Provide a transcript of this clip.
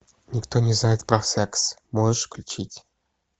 никто не знает про секс можешь включить